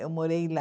Eu morei lá.